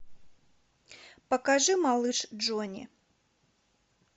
покажи малыш джонни